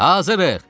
Hazırıq!